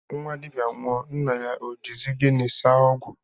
Nnwa dibịa nwụọ, nna ya o jizi gịnị saa ọgwụ?